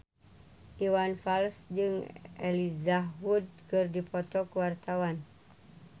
Iwan Fals jeung Elijah Wood keur dipoto ku wartawan